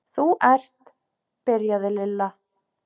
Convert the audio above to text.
Þú ert. byrjaði Lilla.